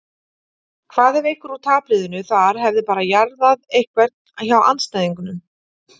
Hvað ef einhver úr tapliðinu þar hefði bara jarðað einhvern hjá andstæðingunum?